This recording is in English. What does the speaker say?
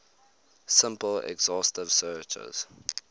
simple exhaustive searches